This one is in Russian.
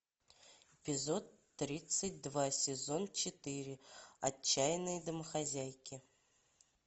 эпизод тридцать два сезон четыре отчаянные домохозяйки